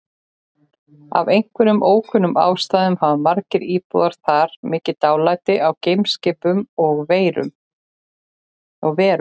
Af einhverjum ókunnum ástæðum hafa íbúar þar mikið dálæti á geimskipum og-verum.